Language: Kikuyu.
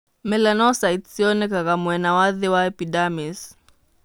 Melanocytes cionekaga mwena wa thĩ wa epidermis.